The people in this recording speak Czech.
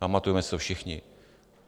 Pamatujeme si to všichni.